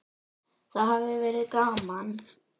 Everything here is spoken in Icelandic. Það hafi verið gaman.